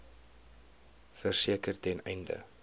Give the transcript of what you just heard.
verseker ten einde